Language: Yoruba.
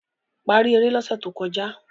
paari ere l'ose tó kọjá